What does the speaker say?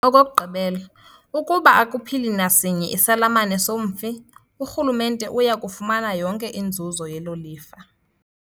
Okokugqibela, ukuba akuphili nasinye isalamane somfi, uRhulumente uya kufumana yonke inzuzo yelo lifa.